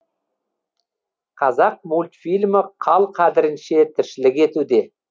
қазақ мультфильмі қал қадірінше тіршілік етуде